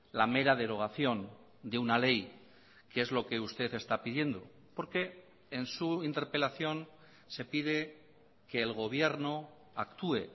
la mera derogación de una ley que es lo que usted está pidiendo porque en su interpelación se pide que el gobierno actúe